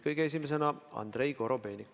Kõige esimesena kõneleb Andrei Korobeinik.